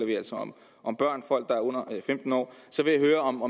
vi altså om om børn folk der er under femten år så vil jeg høre om